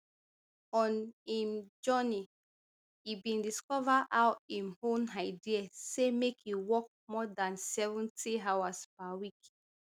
on im journey e bin discover how im own idea say make e work more dan seventy hours per week